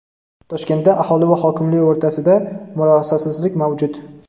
Toshkentda aholi va hokimli o‘rtasida murosasizlik mavjud.